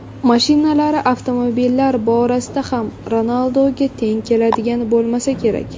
Mashinalari Avtomobillar borasida ham Ronalduga teng keladigani bo‘lmasa kerak.